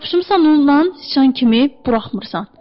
Yapışmısan ondan siçan kimi buraxmırsan.